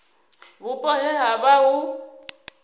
vhupo he ha vha hu